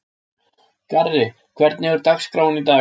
Garri, hvernig er dagskráin í dag?